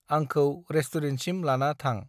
आंंखौ रेस्टुरेन्टसिम लाना थां।